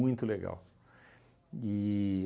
Muito legal.